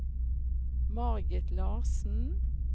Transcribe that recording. Margit Larsen